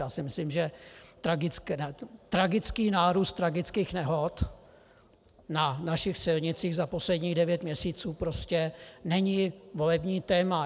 Já si myslím, že tragický nárůst tragických nehod na našich silnicích za posledních devět měsíců prostě není volební téma.